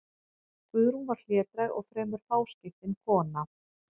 Guðrún var hlédræg og fremur fáskiptin kona.